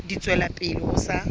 di tswela pele ho sa